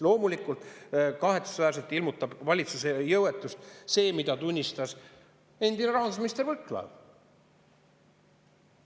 Loomulikult ilmutab kahetsusväärselt valitsuse jõuetust ka see, mida tunnistas endine rahandusminister Võrklaev.